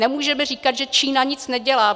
Nemůžeme říkat, že Čína nic nedělá.